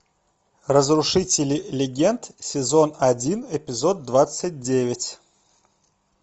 разрушители легенд сезон один эпизод двадцать девять